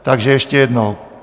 Takže ještě jednou.